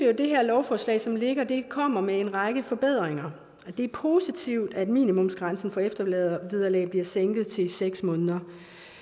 at det her lovforslag som ligger kommer med en række forbedringer det er positivt at minimumsgrænsen for eftervederlag bliver sænket til seks måneder